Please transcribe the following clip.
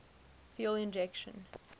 fuel injection